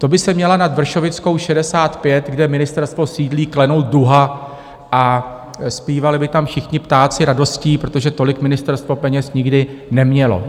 To by se měla nad Vršovickou 65, kde ministerstvo sídlí, klenout duha a zpívali by tam všichni ptáci radostí, protože tolik ministerstvo peněz nikdy nemělo.